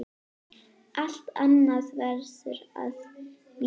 Allt annað verður að víkja.